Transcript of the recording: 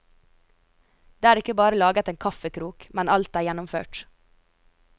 Det er ikke bare laget en kaffekrok, men alt er gjennomført.